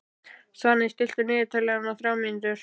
Svani, stilltu niðurteljara á þrjár mínútur.